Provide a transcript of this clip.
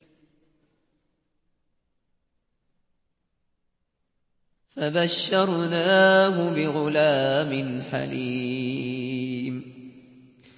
فَبَشَّرْنَاهُ بِغُلَامٍ حَلِيمٍ